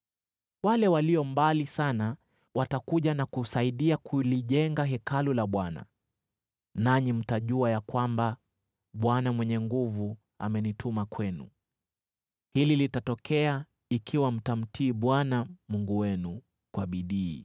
Wale walio mbali sana watakuja na kusaidia kulijenga Hekalu la Bwana , nanyi mtajua ya kwamba Bwana Mwenye Nguvu Zote amenituma kwenu. Hili litatokea ikiwa mtamtii Bwana Mungu wenu kwa bidii.”